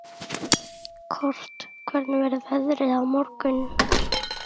Kort, hvernig verður veðrið á morgun?